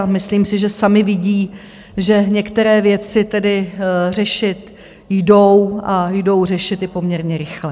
A myslím si, že sami vidí, že některé věci tedy řešit jdou a jdou řešit i poměrně rychle.